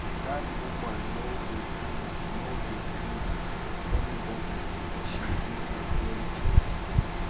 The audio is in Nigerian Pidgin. dat woman no dey gree no dey gree for anybody she win the girl case